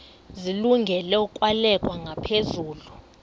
zilungele ukwalekwa ngaphezulu